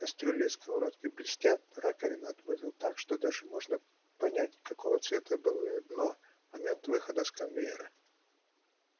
кастрюли и сковородки блестят раковина отмыта так что даже можно понять какого цвета было её дно в момент выхода с конвейера